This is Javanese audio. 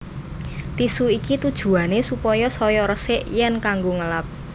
Tisu iki tujuwané supaya saya resik yèn kanggo ngelap